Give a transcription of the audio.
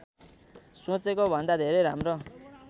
सोचेको भन्दा धेरै राम्रो